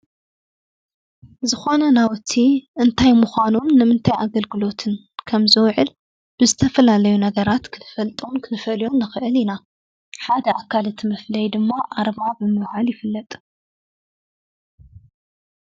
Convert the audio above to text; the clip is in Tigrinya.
ዝኾነ ናውቲ እንታይ ምኳኑ ንምታይ ኣገልግሎትን ፣ከም ዝውዕል ብዝተፈላለዩ ነገራት ክንፈልጦም ንንፈልዮም ንኽእል ኢና። ሓደ ኣካል እቲ መፍለይ ድማ ኣርማ ተባሂሉ ይፍለጥ።